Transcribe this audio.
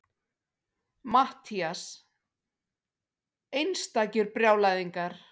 MATTHÍAS: Einstakir brjálæðingar!